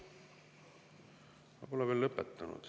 Ma pole veel lõpetanud.